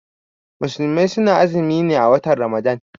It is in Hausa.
Musulmai suna azumi ne a watan ramadan.